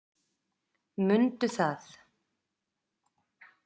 Mundu það!